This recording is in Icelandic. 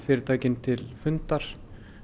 til fundar